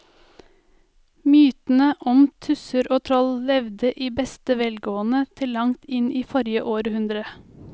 Mytene om tusser og troll levde i beste velgående til langt inn i forrige århundre.